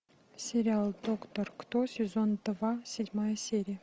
сериал доктор кто сезон два седьмая серия